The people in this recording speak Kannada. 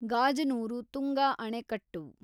ಗಾಜನೂರು ತುಂಗಾ ಆಣೆಕಟ್ಟು